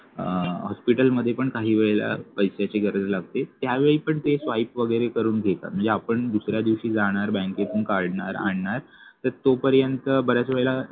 अं hospital मध्ये पण काही वेळेला पैश्याची गरज लागते त्यावेळी पण ते swipe वगैरे करून घेतात म्हणजे आपण दुसऱ्या दिवशी जाणार बँकेतून काढणार आणणार तर तोपर्यंत बऱ्याच वेळेला